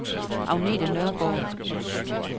Agnete Nørgaard